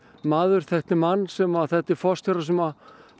maður þekkti mann sem þekkti forstjóra sem